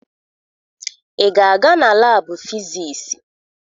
Ị ga-aga na laabụ fisiisi?